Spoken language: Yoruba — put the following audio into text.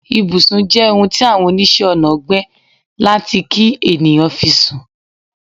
Ìbùsùn je ohun ti Awon onise Onà gbe lati ki eniyan fi sun